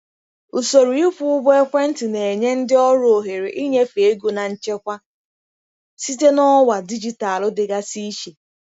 Usoro ịkwụ ụgwọ ekwentị na-enye ndị ọrụ ohere ịnyefe ego na nchekwa site na ọwa dijitalụ dịgasị iche.